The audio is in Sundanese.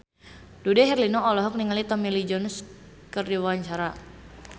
Dude Herlino olohok ningali Tommy Lee Jones keur diwawancara